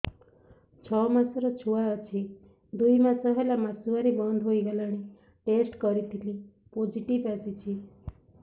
ଛଅ ମାସର ଛୁଆ ଅଛି ଦୁଇ ମାସ ହେଲା ମାସୁଆରି ବନ୍ଦ ହେଇଗଲାଣି ଟେଷ୍ଟ କରିଥିଲି ପୋଜିଟିଭ ଆସିଛି